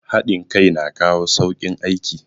Hadin kai na kawo saukin aiki